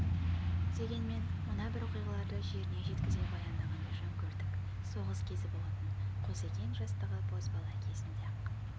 дегенмен мына бір оқиғаларды жеріне жеткізе баяндағанды жөн көрдік соғыс кезі болатын қозыкең жастағы бозбала кезінде-ақ